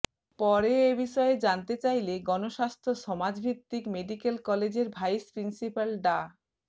পরে এ বিষয়ে জানতে চাইলে গণস্বাস্থ্য সমাজভিত্তিক মেডিক্যাল কলেজের ভাইস প্রিন্সিপাল ডা